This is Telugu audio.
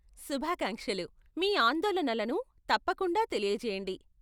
శుభాకాంక్షలు, మీ ఆందోళనలను తప్పకుండా తెలియజేయండి.